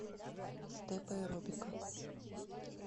степ аэробика